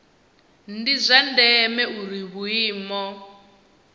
ndi zwa ndeme uri vhuimo